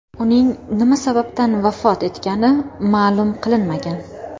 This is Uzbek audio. Uning nima sababdan vafot etgani ma’lum qilinmagan.